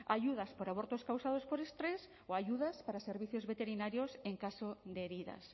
ayudas por abortos causados por estrés o ayudas para servicios veterinarios en caso de heridas